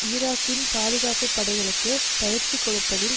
ஈராக்கிய பாதுகாப்பு படைகளுக்கு பயிற்சி கொடுப்பதில்